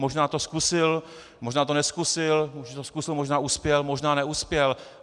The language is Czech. Možná to zkusil, možná to nezkusil, možná to zkusil, možná uspěl, možná neuspěl.